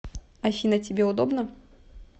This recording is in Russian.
афина тебе удобно